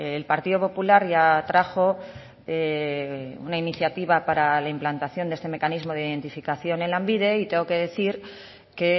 el partido popular ya trajo una iniciativa para la implantación de este mecanismo de identificación en lanbide y tengo que decir que